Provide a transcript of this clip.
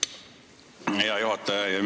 Hea juhataja!